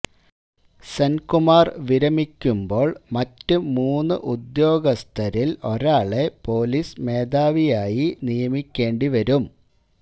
സെന്കുമാര് വിരമിക്കുമ്പോള് മറ്റ് മൂന്ന് ഉദ്യോഗസ്ഥരില് ഒരാളെ പൊലീസ് മേധാവിയായി നിയമിക്കേണ്ടി വരും